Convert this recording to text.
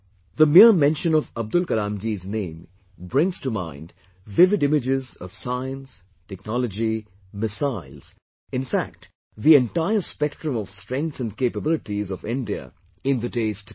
The mere mention of Abdul Kalamji's name brings to mind vivid images of science, technology, missiles in fact the entire spectrum of strengths and capabilities of India in the days to come